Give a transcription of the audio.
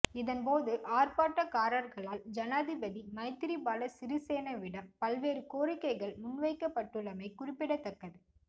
இதன்போது ஆர்ப்பாட்டக்காரர்களால் ஜனாதிபதி மைத்திரிபால சிறிசேனவிடம் பல்வேறு கோரிக்கைகள் முன்வைக்கப்பட்டுள்ளமை குறிப்பிடத்தக்கது